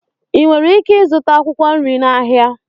ị nwere ike ịzụta akwụkwọ nri n'ahịa